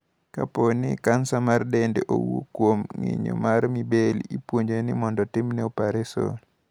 Kapo ni kansa mar dende owuok kuom ng’injo mar Mibelli, ipuonjo ni otimne opareson.